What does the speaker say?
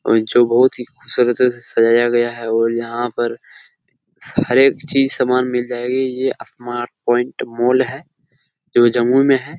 और जो बहुत ही खूबसूरत तरीके से सजाया गया है और यहाँ पर सारे चीज सामान मिल जाएगी। ये स्मार्ट पॉइंट मॉल है जो जमुई में है।